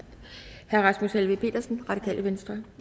herre rasmus helveg petersen radikale venstre